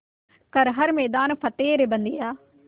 कर हर मैदान फ़तेह रे बंदेया